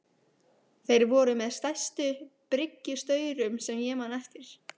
Þeir voru með stærstu bryggjustaurum sem ég man eftir.